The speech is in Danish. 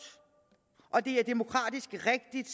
og det er demokratisk rigtigt